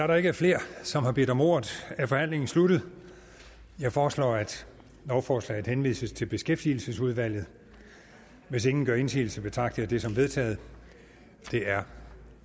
der ikke er flere som har bedt om ordet er forhandlingen sluttet jeg foreslår at lovforslaget henvises til beskæftigelsesudvalget hvis ingen gør indsigelse betragter jeg det som vedtaget det er